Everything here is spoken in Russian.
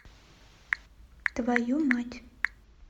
твою мать